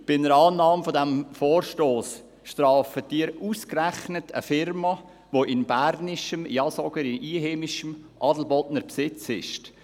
Bei einer Annahme dieses Vorstosses würden Sie ausgerechnet eine Firma strafen, die in bernischem, ja sogar in einheimischem Besitz ist.